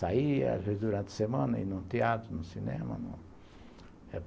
Saía, às vezes, durante a semana, ia num teatro, num cinema.